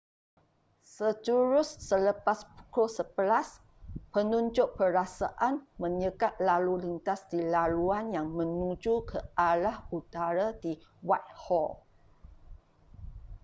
sejurus selepas pukul 11:00 penunjuk perasaan menyekat lalu lintas di laluan yang menuju ke arah utara di whitehall